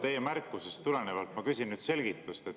Teie märkusest tulenevalt ma küsin selgitust.